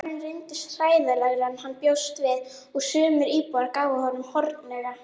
Staðurinn reyndist hræðilegri en hann bjóst við og sumir íbúarnir gáfu honum hornauga.